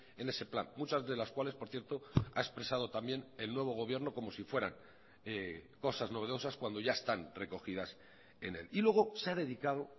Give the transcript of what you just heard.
en ese plan muchas de las cuales por cierto ha expresado también el nuevo gobierno como si fueran cosas novedosas cuando ya están recogidas en él y luego se ha dedicado